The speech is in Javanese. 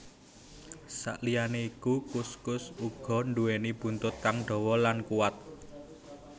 Saliyané iku kuskus uga nduwéni buntut kang dawa lan kuwat